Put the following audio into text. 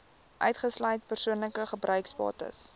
uitgesluit persoonlike gebruiksbates